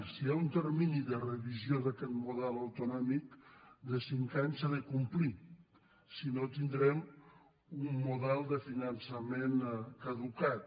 si hi ha un termini de revisió d’aquest model autonòmic de cinc anys s’ha de complir si no tindrem un model de fi·nançament caducat